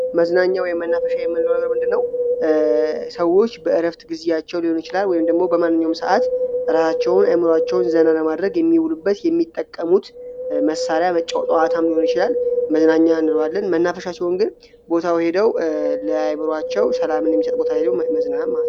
መዝናኛ ወይም መናፈሻ የምንለው ነገር የምንልለው ሰዎች በረፍት ጊዜያቸው ሊሆን ይችላል ወይም ደሞ በማንኛውም ሰዓት ራያቸውን አይምሮአቸውን ዘና ለማድረግ የሚውሉበት የሚጠቀሙት መሳሪያ ጨዋታም ሊሆን ይችላል። መዝናኛ ነን መናፈሻ ቦታው ሄደው ለአይምሮአቸው ሰላምን የሚስጥ ቦታ ሄደው መዝናናት ማለት ነው።